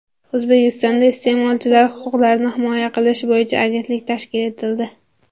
O‘zbekistonda iste’molchilar huquqlarini himoya qilish bo‘yicha agentlik tashkil etildi.